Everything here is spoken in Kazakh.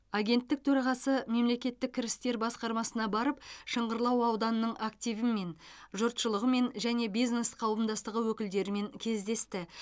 агенттік төрағасы мемлекеттік кірістер басқармасына барып шыңғырлау ауданының активімен жұртшылығымен және бизнес қауымдастығы өкілдерімен кездесті